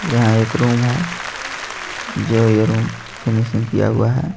यहां एक रूम है जो ये रूम फिनिशिंग किया हुआ है.